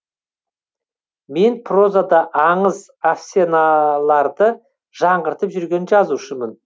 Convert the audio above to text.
мен прозада аңыз әфсаналарды жаңғыртып жүрген жазушымын